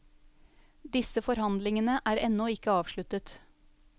Disse forhandlingene er ennå ikke avsluttet.